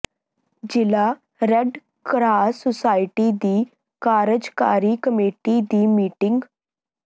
ਜ਼ਿਲ੍ਹਾ red cross society ਦੀ ਕਾਰਜਕਾਰੀ ਕਮੇਟੀ ਦੀ ਮੀਟਿੰਗ